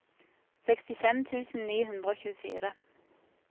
sekstifem tusen ni hundre og tjuefire